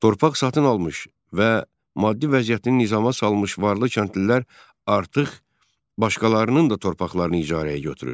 Torpaq satın almış və maddi vəziyyətini nizama salmış varlı kəndlilər artıq başqalarının da torpaqlarını icarəyə götürür.